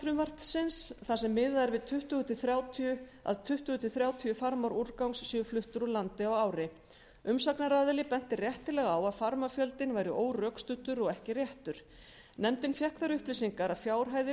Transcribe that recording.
frumvarpsins þar sem miðað er við að tuttugu til þrjátíu farmar úrgangs séu fluttir úr landi á ári umsagnaraðili benti réttilega á að farmafjöldinn væri órökstuddur og ekki réttur nefndin fékk þær upplýsingar að fjárhæðir